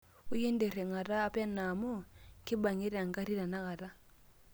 ointrring; ata peno amuu kibang'ita engarri tenakata